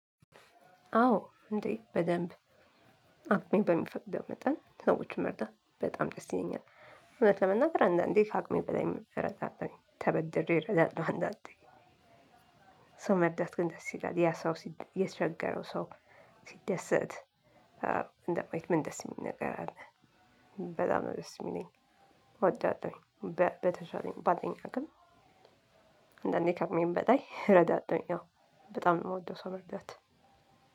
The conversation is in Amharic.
አዎ እንዴ በደንብ አቅሜ በሚፈቅደው መጠን ሰዎችን መርዳት በጣም ደስ ይለኛል። እውነት ለመናገር አንዳንዴ ካቅሜ በላይም እረዳለሁ ተበድሬ እረዳለሁ አንዳንዴ። ሰው መርዳት ግን ደስ ይላል ያ ሰው የተሸገረው ሰው። ሲደሰት እንደማየት ምን ደስ የሚል ነገር አለ? በጣም ነው ደስ የሚለኝ እወዳለሁኝ። በተሻለኝ ባለኝ አቅም። አንዳንዴ ካቅሜም በላይ ረዳለሁኝ አዎ። በጣም ነው የምወደው ሰው መርዳት።